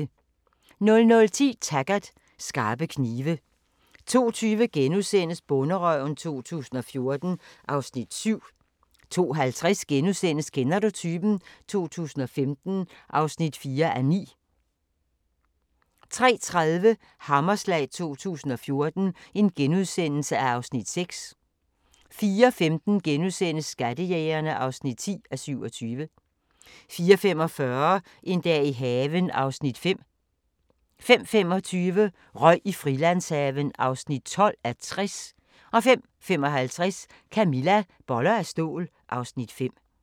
00:10: Taggart: Skarpe knive 02:20: Bonderøven 2014 (Afs. 7)* 02:50: Kender du typen? 2015 (4:9)* 03:30: Hammerslag 2014 (Afs. 6)* 04:15: Skattejægerne (10:27)* 04:45: En dag i haven (Afs. 5) 05:25: Røg i Frilandshaven (12:60) 05:55: Camilla - Boller af stål (Afs. 5)